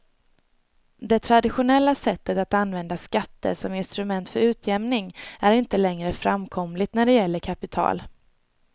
Det traditionella sättet att använda skatter som instrument för utjämning är inte längre framkomligt när det gäller kapital.